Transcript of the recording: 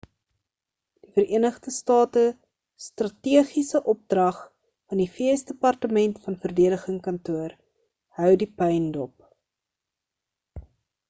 die vereenigde state strategiese opdrag van die vs departement van verdediging kantoor hou die puin dop